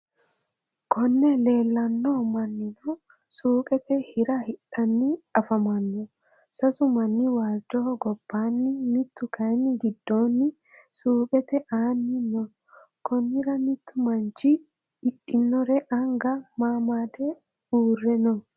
Konne leelanno manninno suuqqette Hira hidhanni afammanno sasu manni waalicho gobbaanni mittu kayi gidoonni suuqqette aanni noo konnira mittu mannchi hidhinore anga mamadde uure noo